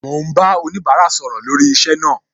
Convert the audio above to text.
Mo ń bá oníbárà sọ̀rọ̀ lórí iṣẹ́ náà